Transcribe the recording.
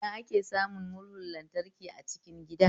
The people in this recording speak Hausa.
A ina ake samun murhun lantraki a cikin gida?